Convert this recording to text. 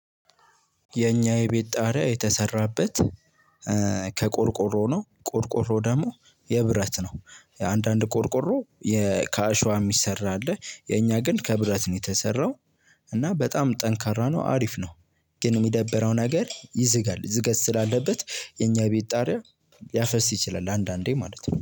የኛ የቤት ጣሪያ የተሰራበት ከቆርቆሮ ነው። ቆርቆሮ ደግሞ የብረት ነው አንዳንድ ቆርቆሮ ከአሸዋ የሚሰራ አለ። የኛ ግን ከብረት ነው የተሰራው። እና በጣም ጠንካራ ነው አሪፍ ነው። ግን የሚደበረው ነገር ይዝጋል ዝገት ስላለበት የኛ ቤት ጣሪያ ሊያፈስ ይችላል አንዳንዴ ማለት ነው